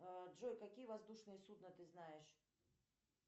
джой какие воздушные судна ты знаешь